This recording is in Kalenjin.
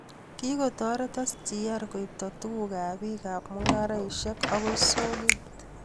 Kikotoret SGR koibto tukuk ab bik ab mungaresieka akoi soket